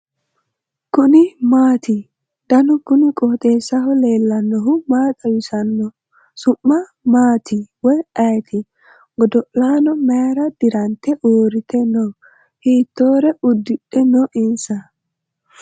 kuni maati ? danu kuni qooxeessaho leellannohu maa xawisanno su'mu maati woy ayeti ? godo'laano mayra dirante uurrite no ? hiitoore uddidhe no insa ?